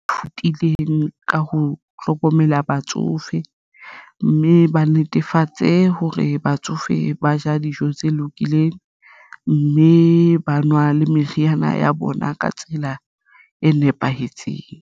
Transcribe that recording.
Thutileng ka ho hlokomela batsofe, mme ba netefatse hore batsofe ba ja dijo tse lokileng, mme ba nwa le meriana ya bona ka tsela e nepahetseng.